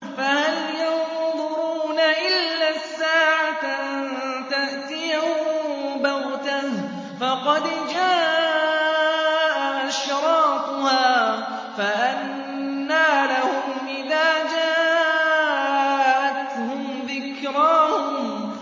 فَهَلْ يَنظُرُونَ إِلَّا السَّاعَةَ أَن تَأْتِيَهُم بَغْتَةً ۖ فَقَدْ جَاءَ أَشْرَاطُهَا ۚ فَأَنَّىٰ لَهُمْ إِذَا جَاءَتْهُمْ ذِكْرَاهُمْ